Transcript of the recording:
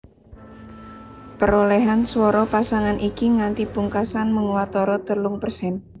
Perolèhan swara pasangan iki nganti pungkasan mung watara telung persèn